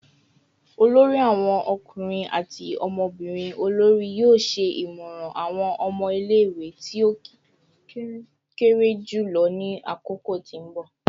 olori awon ọkunrin ati ọmọbirin olori yoo ṣe imọran awọn ọmọ ile-iwe ti o kere julọ ni akoko ti nbọ